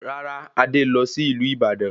Rárá, Adé lọ sí ìlú Ìbàdàn